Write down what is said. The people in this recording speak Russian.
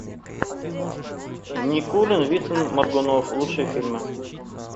никулин вицин моргунов лучшие фильмы